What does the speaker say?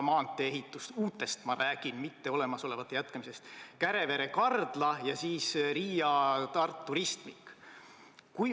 Ma räägin uutest ehitustest, mitte olemasolevate jätkamisest: need on Kärevere–Kardla lõik ja Tartu Riia ristmik.